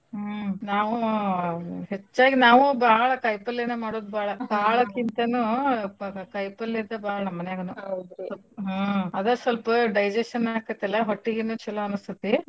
ಹ್ಮ್ ನಾವೂ ಹೆಚ್ಚಾಗ್ ನಾವೂ ಬಾಳ್ ಕಾಯ್ಪಲ್ಲೇನ ಮಾಡೋದ್ ಬಾಳ್ ಕಾಳ್ ಕಿಂತನು ಕಾಯ್ಪಲ್ಲೇದ್ದ ಬಾಳ್ ನಮ್ಮನ್ಯಾಗುನು ಹ್ಞೂ ಅದ ಸ್ವಲ್ಪ digestion ಆಕೆತಲ್ಲ ಹೊಟ್ಟಿೀಗನು ಚಲೋ ಅನ್ನಸ್ತೀತಿ.